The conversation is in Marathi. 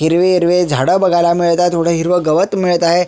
हिरवे हिरवे झाड बघायला मिळत आहे थोड हिरव गवत मिळत आहे.